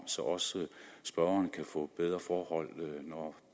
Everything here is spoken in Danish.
så også spørgeren kan få bedre forhold når